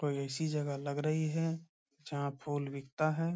कोई ऐसी जगह लग रही है जहां फूल बिकता है ।